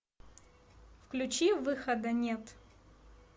включи выхода нет